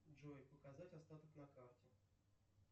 джой показать остаток на карте